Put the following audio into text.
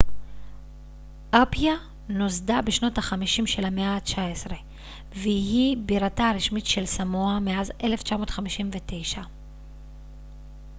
אפיה נוסדה בשנות ה 50 של המאה ה 19 והיא בירתה הרשמית של סמואה מאז 1959